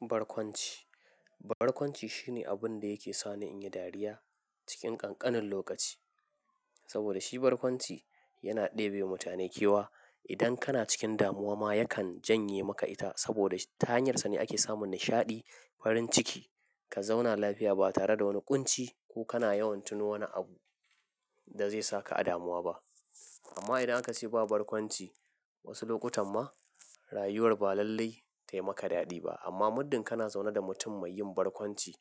Barkwanci, barkwanci shine abun da yake sa ni in yi dariya cikin ƙanƙanin lokaci. Saboda shi barkwanci yana ɗebe wa mutane kewa. Idan kana cikin damuwa ma, yakan janye maka ita saboda ta hanyarsa ne ake samun nishaɗi, farin ciki, ka zauna lafiya ba tare da wani ƙunci ko kana yawan tuno wani abu Da zai saka a damuwa ba. Amma idan aka ce ba barkwanci Wasu lokutan ma, rayuwar ba lallai ta yi maka daɗi ba. Amma muddin kana zaune da mutum mai yin barkwanci,